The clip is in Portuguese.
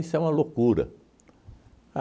é uma loucura.